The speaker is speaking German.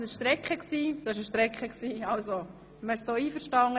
Es sind alle einverstanden.